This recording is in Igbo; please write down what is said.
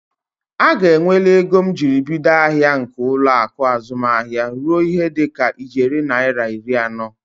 Aga eweli ego njiribido ahịa nke ụlọaku azụmahịa ruo ihe dịka ijeri naira iri anọ.